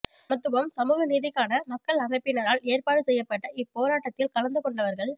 சமத்துவம் சமூக நீதிக்கான மக்கள் அமைப்பினரால் ஏற்பாடு செய்யப்பட்ட இப் போராட்டத்தில் கலந்துகொண்டவர்கள்